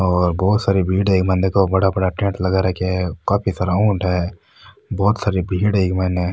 और बहोत सारी भीड़ है इक मायने देखो बड़ा बड़ा टेंट लगा रखे है काफी सारा ऊंट है बहोत सारी भीड़ है इ मायने।